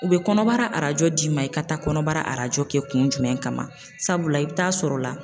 U bɛ kɔnɔbara arajo d'i ma i ka taa kɔnɔbara arajo kɛ kun jumɛn kama sabula i bɛ taa sɔrɔ la